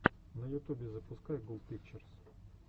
на ютубе запускай гул пикчерс